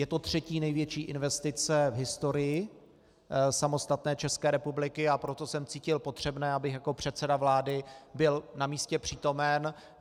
Je to třetí největší investice v historii samostatné České republiky, a proto jsem cítil potřebné, abych jako předseda vlády byl na místě přítomen.